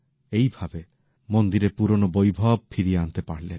এই ভাবে মন্দিরের পুরনো বৈভব ফিরিয়ে আনতে পারলেন